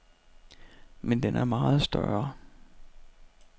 Men den er meget større.